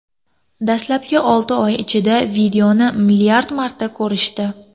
Dastlabki olti oy ichida videoni milliard marta ko‘rishdi.